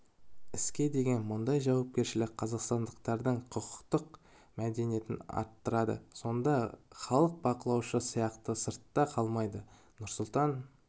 іске деген мұндай жауапкершілік қазақстандықтардың құқықтық мәдениетін арттырады сонда халық бақылаушы сияқты сыртта қалмайды нұрсұлтан